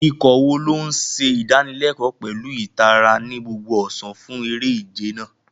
Ikọ̀ wo ló ń ṣe ìdánilẹ́kọ̀ọ́ pẹ̀lú ìtara ní gbogbo ọ̀sán fún eré-ìje náà?